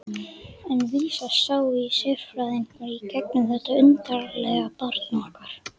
En vísast sáu sérfræðingarnir í gegnum þetta undarlega barn okkar.